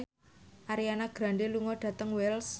Ariana Grande lunga dhateng Wells